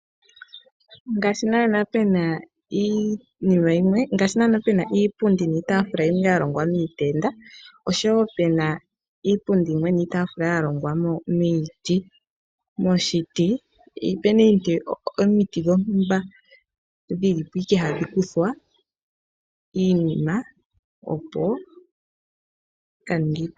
Ngaashi naana puna iitaafula niipundi yimwe yalongwa miitenda oshowo pena iipundi yimwe niitaafula yalongwa miiti, opena ishewe omiti dhontumba hadhikuthwa opo dhikaninge iipundi niitaafula yo yiwape oku landithwa